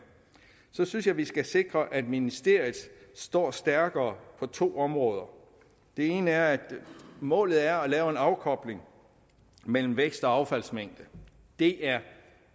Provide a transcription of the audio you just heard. så synes jeg at vi skal sikre at ministeriet står stærkere på to områder det ene er at målet er at lave en afkobling mellem vækst og affaldsmængde det er